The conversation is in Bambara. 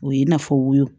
O ye i n'a fɔ wo